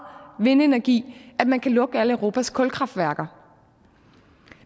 vindenergi at man kan lukke alle europas kulkraftværker